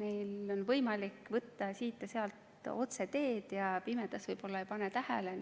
Neil on võimalik siit- ja sealt otseteed sõita ja pimedas võib-olla ei pane tähele